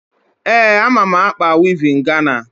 Ee, ama m ákpà wivin Gana.